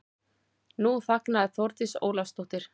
Nú þagnaði Þórdís Ólafsdóttir.